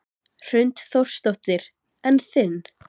Hrund Þórsdóttir: En þinn?